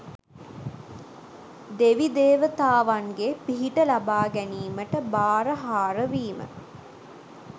දෙවි දේවතාවන්ගේ පිහිට ලබා ගැනීමට භාරහාර වීම